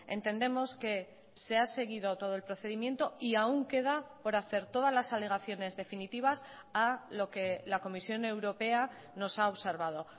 entendemos que se ha seguido todo el procedimiento y aún queda por hacer todas las alegaciones definitivas a lo que la comisión europea nos ha observado